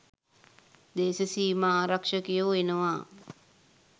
දේශසීමා ආරක්ෂකයෝ එනවා.